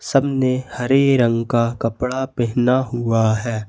सबने हरे रंग का कपड़ा पहना हुआ है।